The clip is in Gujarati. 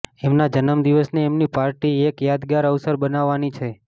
એમના જન્મદિવસને એમની પાર્ટી એક યાદગાર અવસર બનાવવાની છે